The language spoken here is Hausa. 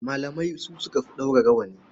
Malamai su suka fi ɗaura rawani.